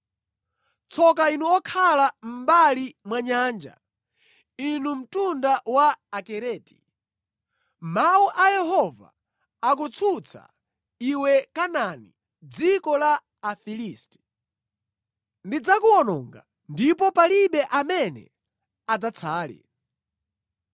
Tsoka inu okhala mʼmbali mwa nyanja, inu mtundu wa Akereti; mawu a Yehova akutsutsa iwe Kanaani, dziko la Afilisti. “Ndidzakuwononga ndipo palibe amene adzatsale.”